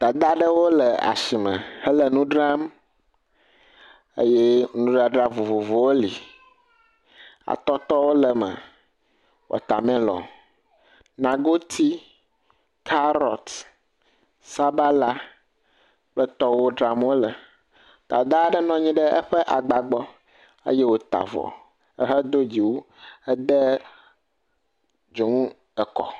Dada ɖewo le asime hele nu dram eye nudadra vovovowo li. Atɔtɔwo le eme. Watamelɔni, nagoti, karɔti, sabala kple tɔwo dram wo le. Dada ɖe nɔ nyi ɖe eƒe agba gbɔ eye woata avɔ hedo dziwu. Ede dzonu ekɔ.